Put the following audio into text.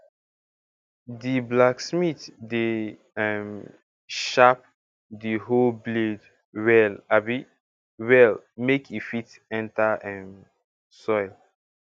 di blacksmith dey um sharp di whoe blade well abi well make e fit enter um soil